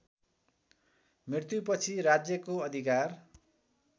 मृत्युपछि राज्यको अधिकार